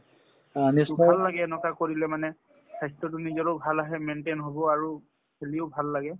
to ভাল লাগে এনেকুৱা কৰিলে মানে স্বাস্থ্যতো নিজৰো ভাল আহে maintain হব আৰু খেলিও ভাল লাগে